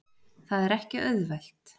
Það er ekki auðvelt.